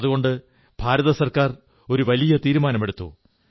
അതുകൊണ്ട് കേന്ദ്ര ഗവൺമെന്റ് ഒരു വലിയ തീരുമാനമെടുത്തു